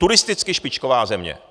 Turistická špičková země.